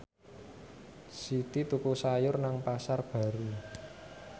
Siti tuku sayur nang Pasar Baru